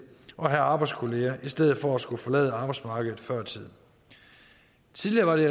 og have arbejdskolleger i stedet for at skulle forlade arbejdsmarkedet før tid tidligere var det